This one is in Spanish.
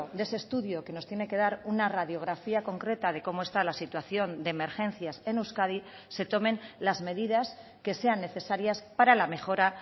de ese estudio que nos tiene que dar una radiografía concreta de cómo está la situación de emergencias en euskadi se tomen las medidas que sean necesarias para la mejora